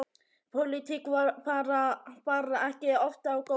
Pólitík bar ekki oft á góma.